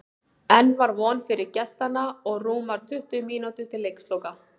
Enn var von fyrir gestanna og rúmar tuttugu mínútur til leiksloka.